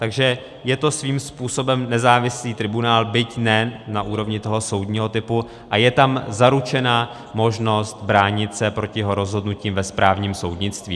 Takže je to svým způsobem nezávislý tribunál, byť ne na úrovni toho soudního typu, a je tam zaručena možnost bránit se proti jeho rozhodnutím ve správním soudnictví.